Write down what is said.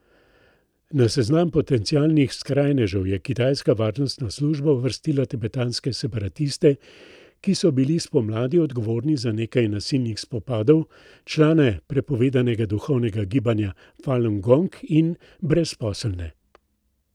Na seznam potencialnih skrajnežev je kitajska varnostna služba uvrstila tibetanske separatiste, ki bili spomladi odgovorni za nekaj nasilnih spopadov, člane prepovedanega duhovnega gibanja Falung Gong in brezposelne.